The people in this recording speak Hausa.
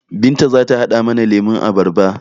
Binta zata haɗa mana lemon abarba